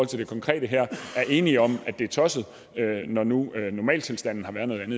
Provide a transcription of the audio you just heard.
til det konkrete her er enige om at det er tosset når nu normaltilstanden